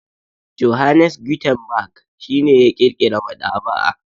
Johannes Gutenberg shi ne ya ƙirƙira maɗaba'a.